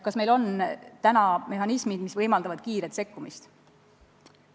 Kas meil on mehhanismid, mis võimaldavad kiiret sekkumist?